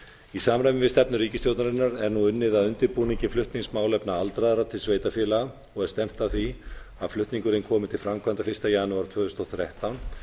í samræmi við stefnu ríkisstjórnarinnar er nú unnið að undirbúningi flutnings málefna aldraðra til sveitarfélaga og er stefnt að því að flutningurinn komi til framkvæmda fyrsta janúar tvö þúsund og þrettán